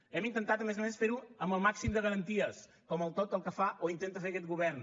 hem intentat a més a més fer ho amb el màxim de garanties com tot el que fa o intenta fer aquest govern